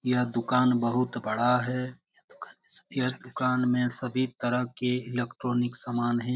यह दुकान बहुत बड़ा है यह दुकान मे सभी तरह की इलेक्ट्रॉनिक समान है।